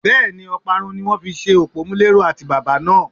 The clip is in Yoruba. Bẹ́ẹ̀ni, Ọparun ni wón fi ṣe òpómúléró àtíbàbà náà.